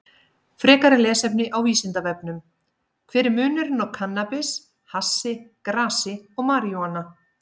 Frekara lesefni á Vísindavefnum: Hver er munurinn á kannabis, hassi, grasi og marijúana?